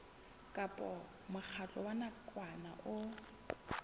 kapa mokgatlo wa nakwana o